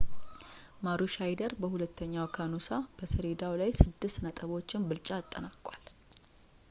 ማሩሻይዶር በሁለተኛው ከኑሳ በሰሌዳው ላይ ስድስት ነጥቦችን ብልጫ አጠናቋል